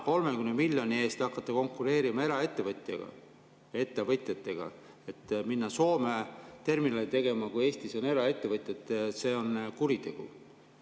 30 miljoni eest hakata konkureerima eraettevõtjatega, et minna Soome terminali tegema, kui Eestis on eraettevõtjad – see on kuritegu.